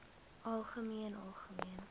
algemeen algemeen